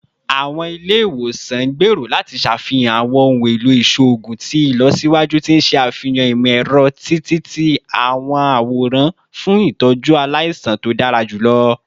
Awọn ile-iwosan n gbero lati ṣafihan awọn ohun elo iṣoogun ti ilọsiwaju ti o n ṣe afihan imọ-ẹrọ-ti-ti-aworan fun itọju alaisan to dara julọ